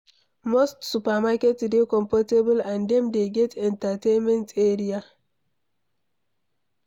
Most supermarket dey comfortable and dem dey get entertainment area